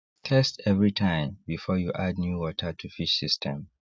test everytime before you add new water to fish system